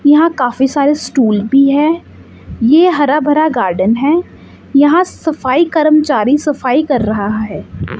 यहां काफी सारे से स्टूल भी है यह हरा भरा गार्डन है यहां सफाई कर्मचारी सफाई कर रहा है।